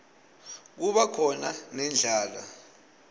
kuba khona nendlala